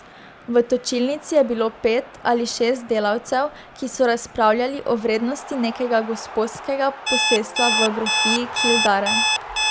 V točilnici je bilo pet ali šest delavcev, ki so razpravljali o vrednosti nekega gosposkega posestva v grofiji Kildare.